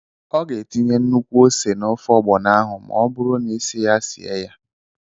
Ọ ga-etinye nnukwu ose n'ofe ọgbọnọ ahụ ma ọ bụrụ na ị sị ya sie ya.